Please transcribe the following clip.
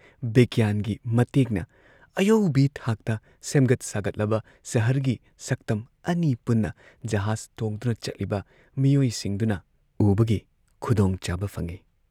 ꯕꯤꯒ꯭ꯌꯥꯟꯒꯤ ꯃꯇꯦꯡꯅ ꯑꯌꯧꯕꯤ ꯊꯥꯛꯇ ꯁꯦꯝꯒꯠ ꯁꯥꯒꯠꯂꯕ ꯁꯍꯔꯒꯤ ꯁꯛꯇꯝ ꯑꯅꯤ ꯄꯨꯟꯅ ꯖꯍꯥꯖ ꯇꯣꯡꯗꯨꯅ ꯆꯠꯂꯤꯕ ꯃꯤꯑꯣꯢꯁꯤꯡꯗꯨꯅ ꯎꯕꯒꯤ ꯈꯨꯗꯣꯡꯆꯥꯕ ꯐꯪꯏ